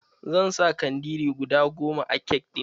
Zan sa kandiri guda goma a kek ɗin.